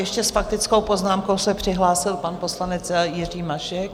Ještě s faktickou poznámkou se přihlásil pan poslanec Jiří Mašek.